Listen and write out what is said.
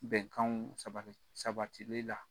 Bɛnkan saba sabatili la.